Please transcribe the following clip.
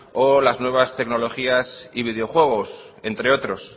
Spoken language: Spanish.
o las nuevas tecnologías y videojuegos entre otros